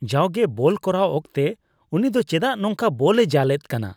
ᱡᱟᱣᱜᱮ ᱵᱚᱞ ᱠᱚᱨᱟᱣ ᱚᱠᱛᱮ ᱩᱱᱤ ᱫᱚ ᱪᱮᱫᱟᱜ ᱱᱚᱝᱠᱟ ᱵᱚᱞᱼᱮ ᱡᱟᱞᱮᱫ ᱠᱟᱱᱟ ?